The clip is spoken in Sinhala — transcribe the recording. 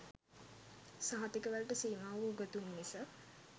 සහතික වලට සීමාවූ උගතුන් මිස